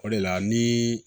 O de la ni